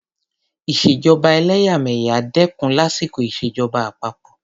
ìṣèjọba ẹlẹ́yàmẹ̀yà dẹ́kun lásìkò ìṣèjọba àpapọ.